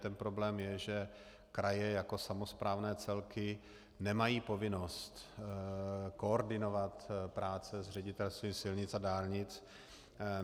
Ten problém je, že kraje jako samosprávné celky nemají povinnost koordinovat práce s Ředitelstvím silnic a dálnic.